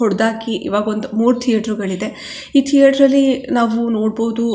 ಹೊಡದ್ ಹಾಕಿ ಈವಾಗ್ ಒಂದ್ ಮೂರ್ ಥಿಯೇಟರ್ ಗಳು ಇದೆ ಈ ಥಿಯೇಟರಲ್ಲಿ ನಾವು ನೋಡಬಹುದು.